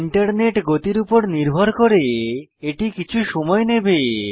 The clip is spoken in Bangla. ইন্টারনেট গতির উপর নির্ভর করে এটি কিছু সময় নেবে